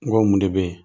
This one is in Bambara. N go mun de be yen